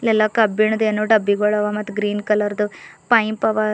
ಎಲ್ಲಾ ಕಬ್ಬಿಣದೇನೋ ಡಬ್ಬಿಗೋಳವ ಮತ್ ಗ್ರೀನ್ ಕಲರ್ದು ಪೈಂಪ್ ಅವ.